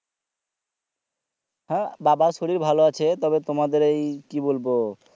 হ্যাঁ বাবার শরীর ভালো আছে তবে তোমাদের ওই কি বলবো